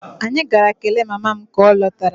Anyị gara kelee mama m ka ọ lọtara